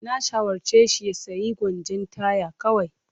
Na shawarce shi ya sayi gwanjon taya kawai.